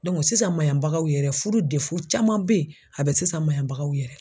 sisan maɲanbagaw yɛrɛ furu caman bɛ ye a bɛ sisan maɲanbagaw yɛrɛ